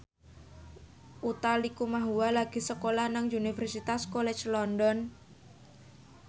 Utha Likumahua lagi sekolah nang Universitas College London